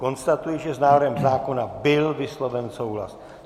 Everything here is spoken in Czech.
Konstatuji, že s návrhem zákona byl vysloven souhlas.